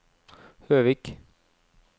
Høvik